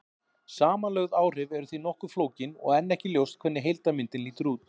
Samanlögð áhrif eru því nokkuð flókin og enn ekki ljóst hvernig heildarmyndin lítur út.